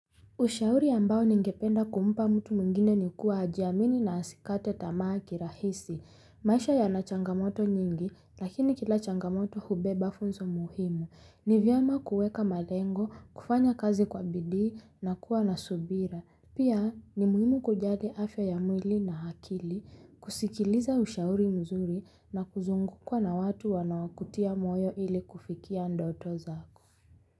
Ushauri ambao ningependa kumpa mtu mwngine ni kuwa ajiamini na asikate tamaa kirahisi. Maisha yanachangamoto nyingi lakini kila changamoto hubeba funzo muhimu. Ni vyema kuweka malengo, kufanya kazi kwa bidii na kuwa na subira. Pia ni muhimu kujali afya ya mwili na akili, kusikiliza ushauri mzuri na kuzungukwa na watu wanawakutia moyo ili kufikia ndoto zako.